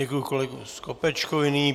Děkuji kolegovi Skopečkovi.